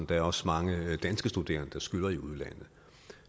der også mange danske studerende der skylder i udlandet